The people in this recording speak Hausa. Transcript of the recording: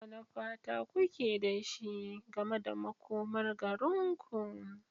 Wane fata kuke da shi game da makomar garinku?